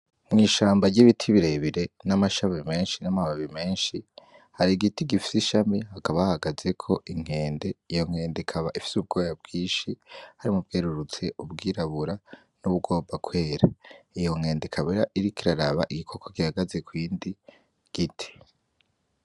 Mw'ishamba ry'ibiti birebire, n'amashami menshi n'amababi menshi, hari igiti gifise ishami; hakaba hahagazeko inkende. Iyo nkende ikaba ifise ubwoya bwinshi harimwo ubwerurutse, ubwirabura, n' ubugomba kwera. Iyo nkende ikaba iriko iraraba igikoko gihagaze ku yindi giti.